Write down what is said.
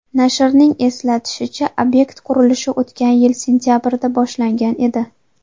Nashrning eslatishicha, obyekt qurilishi o‘tgan yil sentabrida boshlangan edi.